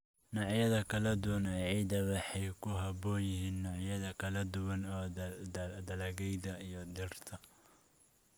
Noocyada kala duwan ee ciidda waxay ku habboon yihiin noocyada kala duwan ee dalagyada iyo dhirta.